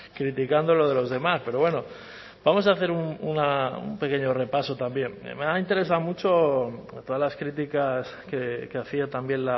criticando lo de los demás pero bueno vamos a hacer un pequeño repaso también me han interesado mucho todas las críticas que hacía también